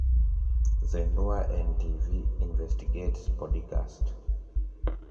zindua n.t.v investigates podikasti